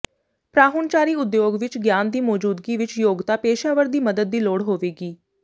ਪਰਾਹੁਣਚਾਰੀ ਉਦਯੋਗ ਵਿੱਚ ਗਿਆਨ ਦੀ ਮੌਜੂਦਗੀ ਵਿੱਚ ਯੋਗਤਾ ਪੇਸ਼ਾਵਰ ਦੀ ਮਦਦ ਦੀ ਲੋੜ ਹੋਵੇਗੀ